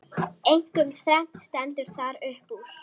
Einkum þrennt stendur þar uppúr.